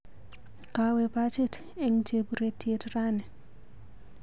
Kawe bachit eng cheburetiet rani.